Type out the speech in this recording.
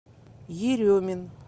еремин